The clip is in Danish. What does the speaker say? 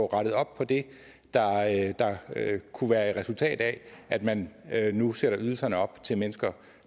rettet op på det der kunne være et resultat af at man nu sætter ydelserne op til mennesker